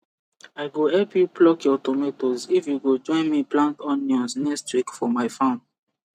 i go help you pluck your tomatoes if you go join me plant onions next week for my farm